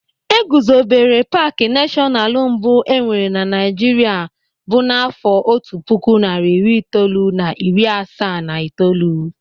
E guzobere paaki nashọnalu mbụ enwere Naịjirịa bụ n'àfọ́ otu puku narị iri itoolu na iri asaa na itoolu.